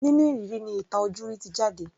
Nínú ìrírí ni ìtàn ojúrí ti jáde.